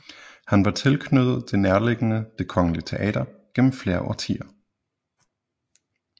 Han var tilknyttet det nærliggende Det Kongelige Teater gennem flere årtier